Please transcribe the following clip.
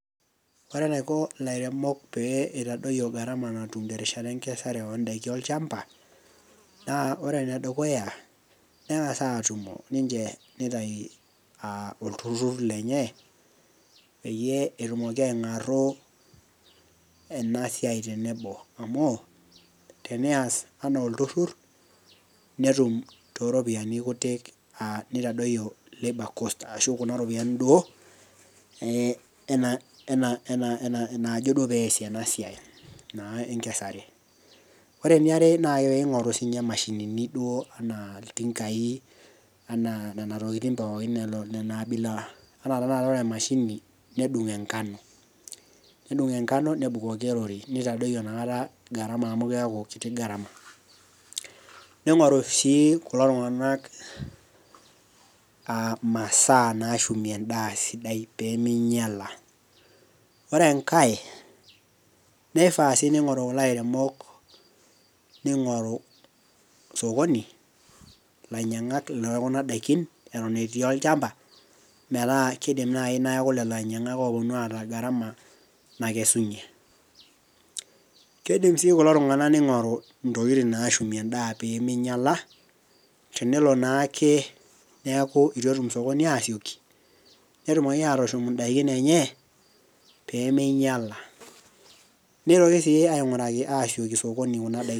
ore enaiko ilareok pee itadoyio garama natum terishate enkesare oo daikin olchampa, naa ore ene dukuya neng'as aatumo aitayu olturur lenye, peyie etumoki aing'aru ena siai, tenebo amu tenias anaa olturur, netum tooropiyiani kutitik, neitadoyio labor cost ashu kuna ropiyiani duo naajo duoo peesie ena siai, ena enkesare. ore eniaare naa pee eing'oru duo kuna mashinini anaa iltinkai anaa nena tokitin pookin ina abila, anaa tenakata ore emashini nedung' enkabno, nedung' enkano, nedung'oki orori neitadoyio inakata garama, amu keeku kiti garama. imasaa naashumie edaa esidai pee ming'iala, ore enkae keifaa sii neing'ou kulo airemok, ning'oru sokoni, ilainyiang'ak lekuna daikin eton etii olchamapa. metaa kidim naaji, neeku lelo ainyiang'ak oopuonu aata garama nakesunye. kidim sii kulo tunganak ning'oru ntokitin naashumie eda pee ming'iala, tenelo naake neeku etitu etum sokoni aasioki, netumoki aatushum idaikin enye, pee meingiala. neitoki sii ainguaraki sokoni kuna daikin.